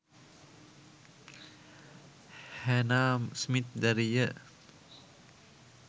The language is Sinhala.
හැනා ස්මිත් දැරිය